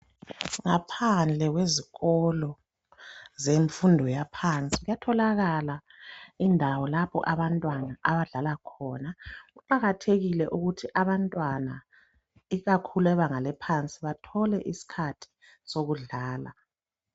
ngaphandle kwezikolo zemfundo yaphansi kuyattholakala indawo lapho abantwana abadlala khona kuqakathekile ukuthi abantwana ikakhulu abebanga laphansi bathole isikhathi sokudlala